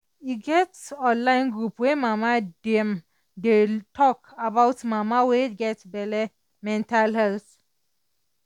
e get online group wey mama dem dey tok about mama wey get belle mental health